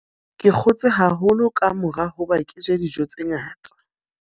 Ke kgotse haholo ka mora hoba ke je dijo tse ngata.